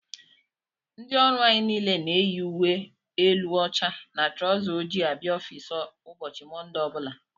Ndị ọrụ anyị niile na-eyi ùwé élú óchá na trauzer ojii abịa ọffici ụbọchị Monde ọbula.